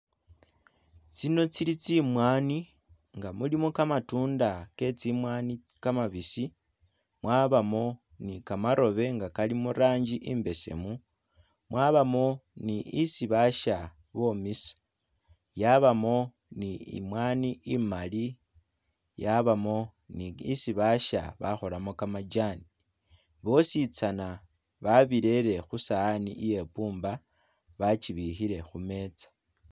Tsino tsili tsimwanyi nga mulimo gamatunda getsimwanyi gamabisi mwabamo ni gamarobe nga gali murangi imbesemu mwabamo ni isi basha bomisa yabamo ni imwanyi imali yabamo ni isi basha bakolamo gamajani tsosi zana barele khusawani iye bumba bajibikhile khumeeza.